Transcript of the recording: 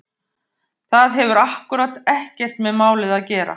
Það hefur akkúrat ekkert með málið að gera!